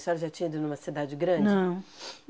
A senhora já tinha ido numa cidade grande? Não.